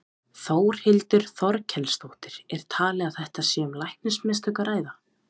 Þórhildur Þorkelsdóttir: Er talið að þetta sé um læknamistök að ræða?